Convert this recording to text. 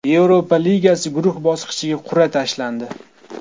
Yevropa Ligasi guruh bosqichiga qur’a tashlandi.